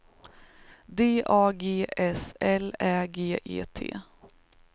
D A G S L Ä G E T